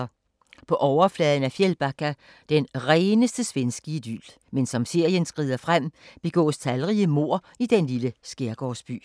På overfladen er Fjällbacka det rene svenske idyl, men som serien skrider frem begås talrige mord i den lille skærgårdsby.